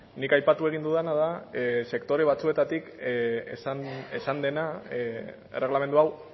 nik aipatu egin dudana da sektore batzuetatik esan dena erregelamendu hau